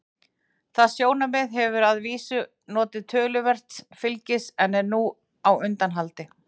Það sjónarmið hefur að vísu notið töluverðs fylgis en er nú á undanhaldi.